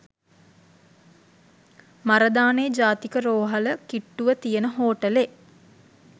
මරදානේ ජාතික රෝහල කිට්‌ටුව තියෙන හෝටලේ